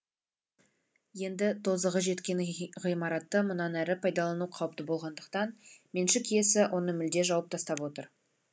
енді тозығы жеткен ғимаратты мұнан әрі пайдалану қауіпті болғандықтан меншік иесі оны мүлде жауып тастап отыр